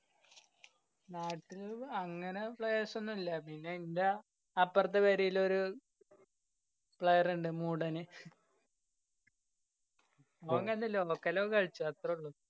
നാ~ട്ടില് അങ്ങനെ players ഒന്നുല്ല്യാ. പിന്നെ ന്‍ടാ അപ്പ്രത്തെ പെരേലൊരു player ഇണ്ട്. മൂടന് ഓന്‍ ഇങ്ങനത്തെ local ഒക്കെ കളിച്ചും അത്രള്ളൂ.